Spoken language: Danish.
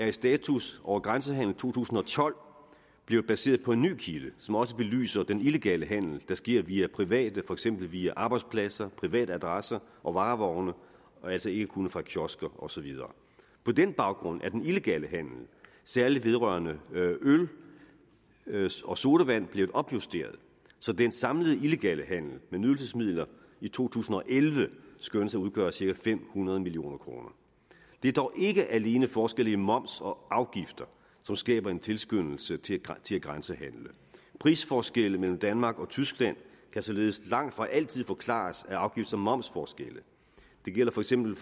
en status over grænsehandelen i to tusind og tolv blevet baseret på en ny kilde som også belyser den illegale handel der sker via private for eksempel via arbejdspladser privatadresser og varevogne altså ikke kun fra kiosker og så videre på den baggrund er den illegale handel særlig vedrørende øl og sodavand blevet opjusteret så den samlede illegale handel med nydelsesmidler i to tusind og elleve skønnes at udgøre cirka fem hundrede million kroner det er dog ikke alene forskelle i moms og afgifter som skaber en tilskyndelse til at grænsehandle prisforskelle mellem danmark og tyskland kan således langtfra altid forklares af afgifts og momsforskelle det gælder for eksempel